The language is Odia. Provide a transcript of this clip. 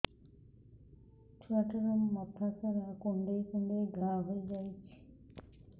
ଛୁଆଟାର ମଥା ସାରା କୁଂଡେଇ କୁଂଡେଇ ଘାଆ ହୋଇ ଯାଇଛି